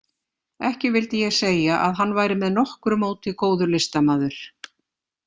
Ekki vildi ég segja að hann væri með nokkru móti góður listamaður.